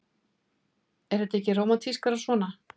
Er þetta ekki rómantískara svona?